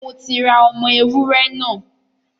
Mo ti ra ọmọ ewúrẹ́ náà.